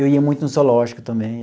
Eu ia muito no zoológico também.